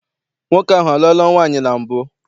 Nwoke ahụ a lụọla nwaanyị na mbụ?